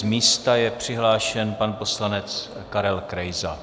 Z místa je přihlášen pan poslanec Karel Krejza.